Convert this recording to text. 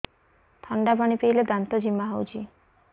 ଥଣ୍ଡା ପାଣି ପିଇଲେ ଦାନ୍ତ ଜିମା ହଉଚି